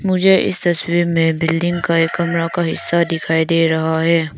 मुझे इस तस्वीर में बिल्डिंग का एक कमरा का हिस्सा दिखाई दे रहा है।